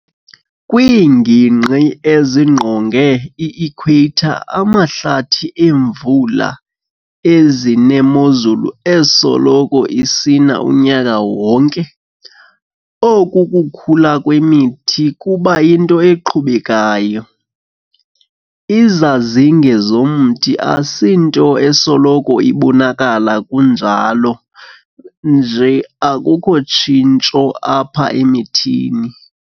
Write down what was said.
Kwiingingqi ezingqonge i-Equator amahlathi emvula, ezinemozulu esoloko isina unyaka wonke, oku kukhula kwemithi kuba yinto eqhubekayo. Izazinge zomthi asinto esoloko ibonakala kunjalo nje akukho tshintsho apha emthini.